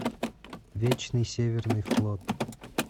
вечный северный флот